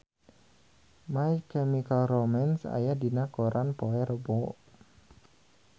My Chemical Romance aya dina koran poe Rebo